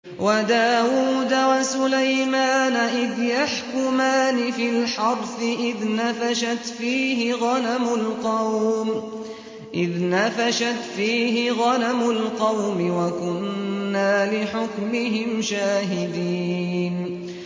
وَدَاوُودَ وَسُلَيْمَانَ إِذْ يَحْكُمَانِ فِي الْحَرْثِ إِذْ نَفَشَتْ فِيهِ غَنَمُ الْقَوْمِ وَكُنَّا لِحُكْمِهِمْ شَاهِدِينَ